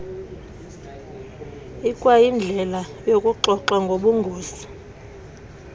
ikwayindlela yokuxoxa ngobungozi